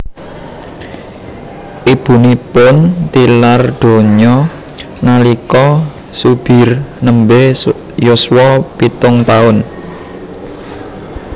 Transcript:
Ibunipun tilar donya nalika Zubir nembe yuswa pitung taun